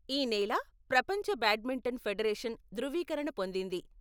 ఈ నేల ప్రపంచ బ్యాడ్మింటన్ ఫెడరేషన్ ధృవీకరణ పొందింది.